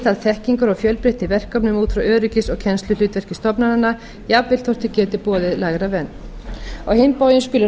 viðhald þekkingar og fjölbreytni í verkefnum út frá öryggis og kennsluhlutverki stofnananna jafnvel þótt þeir geti boðið lægra verð á hinn bóginn skulu